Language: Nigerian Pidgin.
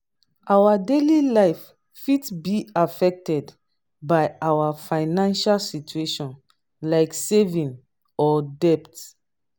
our daily life fit be affected by our financial situation like saving or debt.